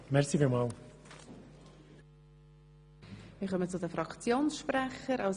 Wir kommen zu den Fraktionssprechern.